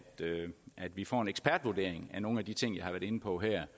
vi får en ekspertvurdering af nogle af de ting jeg har været inde på her